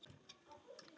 Hvað er hún stór?